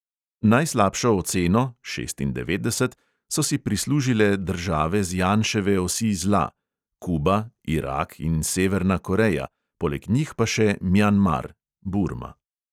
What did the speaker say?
Najslabšo oceno so si prislužile države z janševe osi zla: kuba, irak in severna koreja, poleg njih pa še mjanmar